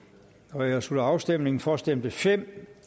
nu jeg slutter afstemningen for stemte fem